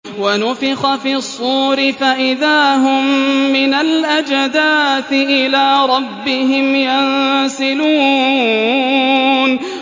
وَنُفِخَ فِي الصُّورِ فَإِذَا هُم مِّنَ الْأَجْدَاثِ إِلَىٰ رَبِّهِمْ يَنسِلُونَ